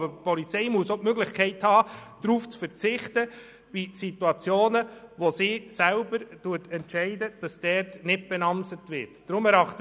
Die Polizei muss aber auch die Möglichkeit haben, in Situationen, in denen sie selbst entscheidet, dass nicht mit Namen gekennzeichnet wird, darauf zu verzichten.